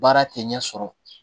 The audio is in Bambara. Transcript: Baara tɛ ɲɛ sɔrɔ